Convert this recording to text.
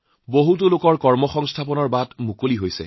অসংখ্য লোকৰ সংস্থাপনৰ নতুন সুযোগ সৃষ্টি হৈছে